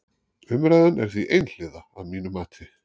Umræðan er því einhliða að mínu mati.